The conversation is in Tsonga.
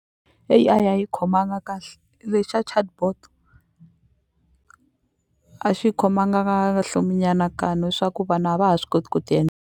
A_I a yi khomanga kahle le xa chatbot a xi khomanga kahle swa ku vanhu a va ha swi koti ku ti .